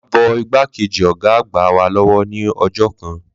Ma bọ igba Kejì ọgá àgbà wa lọwọ ni ọjọ kan